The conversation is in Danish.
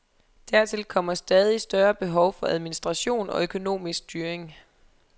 Dertil kommer stadig større behov for administration og økonomisk styring.